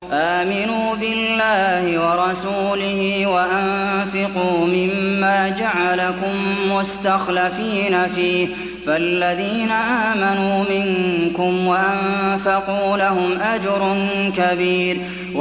آمِنُوا بِاللَّهِ وَرَسُولِهِ وَأَنفِقُوا مِمَّا جَعَلَكُم مُّسْتَخْلَفِينَ فِيهِ ۖ فَالَّذِينَ آمَنُوا مِنكُمْ وَأَنفَقُوا لَهُمْ أَجْرٌ كَبِيرٌ